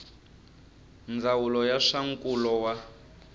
ndzawulo ya swa nkulo wa